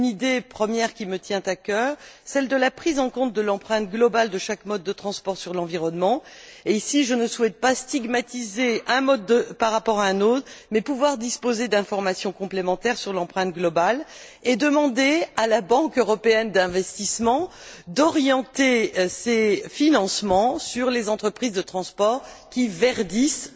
Une première idée qui me tient à cœur celle de la prise en compte de l'empreinte globale de chaque mode de transport sur l'environnement et, ici, je ne souhaite pas stigmatiser un mode par rapport à un autre, mais j'aimerais pouvoir disposer d'informations complémentaires sur l'empreinte globale et demander à la Banque européenne d'investissement d'orienter ses financements vers les entreprises de transport qui verdissent leurs moyens de production.